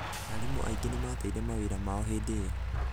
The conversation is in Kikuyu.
arimũ aingĩ nĩmateire mawĩra mao hĩndi iyo.